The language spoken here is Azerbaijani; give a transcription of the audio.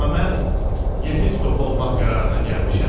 Amma mən yepiskop olmaq qərarına gəlmişəm.